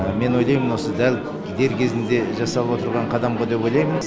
мен ойлаймын осы дәл дер кезінде жасап отырған қадам ба деп ойлаймын